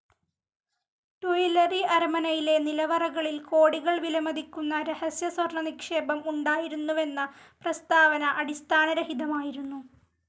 Tuileries അരമനയിലെ നിലവറകളിൽ കോടികൾ വിലമതിക്കുന്ന രഹസ്യസ്വർണനിക്ഷേപം ഉണ്ടായിരുന്നുവെന്ന പ്രസ്താവന അടിസ്ഥാനരഹിതമായിരുന്നു.